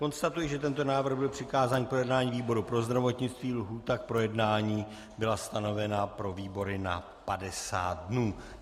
Konstatuji, že tento návrh byl přikázán k projednání výboru pro zdravotnictví, lhůta k projednání byla stanovena pro výbory na 50 dnů.